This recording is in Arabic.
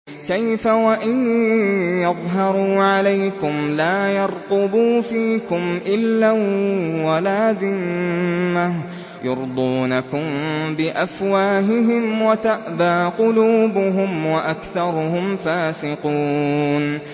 كَيْفَ وَإِن يَظْهَرُوا عَلَيْكُمْ لَا يَرْقُبُوا فِيكُمْ إِلًّا وَلَا ذِمَّةً ۚ يُرْضُونَكُم بِأَفْوَاهِهِمْ وَتَأْبَىٰ قُلُوبُهُمْ وَأَكْثَرُهُمْ فَاسِقُونَ